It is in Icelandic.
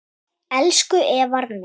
Elsku Eðvarð minn.